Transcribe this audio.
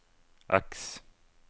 X